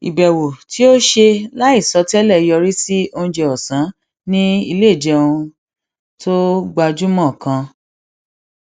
ìbèwò tí ó ṣe láìsọ télè yọrí sí oúnjẹ òsán ní iléoúnjẹ tó gbajúmọ kan